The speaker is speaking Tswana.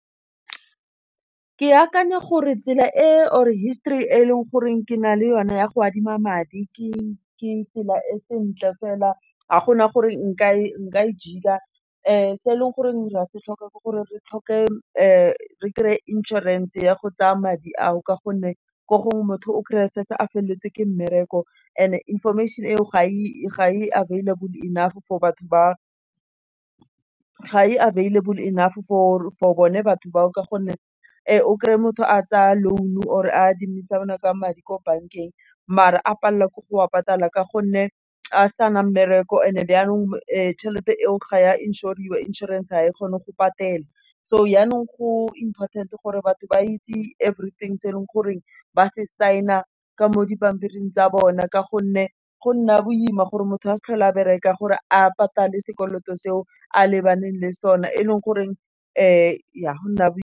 Ke akanya gore tsela e or histori e leng goreng ke na le yone ya go adima madi ke tsela e sentle fela ga gona gore nka e jeka, se e leng gore ra se tlhoka ke gore re tlhoke re kry-e insurance ya go tsaya madi ao ka gonne ko gongwe motho o kry-a setse a feleletse ke mmereko and information e o ga e available enough for batho for bone batho ba o. O kry-e motho a tsaya loan or adimisanang ka madi ko bankeng, mare a palelwa ke go wa patala ka gonne a sa nang mmereko e ne yaanong tšhelete e o ga ya inšoriwa. Inšorense ga e kgone go patela, so yanong ko important-e gore batho ba itse everything se e leng goreng ba se sing-a ka mo di pampiring tsa bona. Ka gonne go nna boima gore motho a sa tlhole a bereka gore a patale sekoloto se o a lebaneng le sone e leng goreng ya go nna boima.